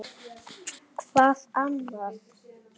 Hvað annað?